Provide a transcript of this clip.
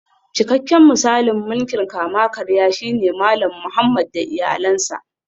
Cikakken misalin mulkin kama-karya shine Malam Muhammad da iyalansa